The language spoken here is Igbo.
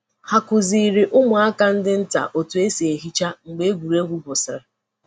Ha kụziri ụmụaka ndị nta otú e si ehicha mgbe egwuregwu gwụsịrị.